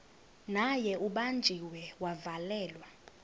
naye ubanjiwe wavalelwa